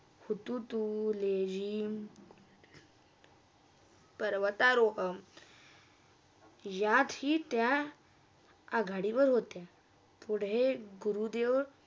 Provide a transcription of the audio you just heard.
हुतुतू, लेजीम याशीत्या आघाडीवर होता पुढे गुरुदेव